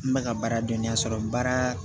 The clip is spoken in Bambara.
N bɛ ka baara dɔnninya sɔrɔ baara